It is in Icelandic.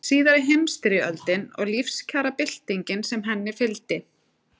Síðari heimsstyrjöldin og lífskjarabyltingin sem fylgdi henni.